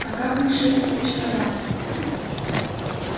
а как насчёт разочарования